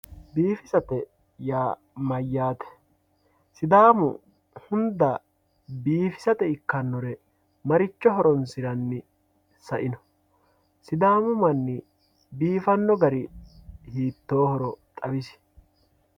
Biifisate yaa mayate sidaamu hunda biifissate ikkanore maricho horonsiranni saino, sidaamu mani biifano gari hiitohoro xawisi